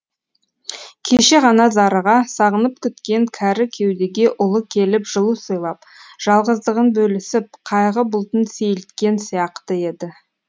кеше ғана зарыға сағынып күткен кәрі кеудеге ұлы келіп жылу сыйлап жалғыздығын бөлісіп қайғы бұлтын сейілткен сияқты еді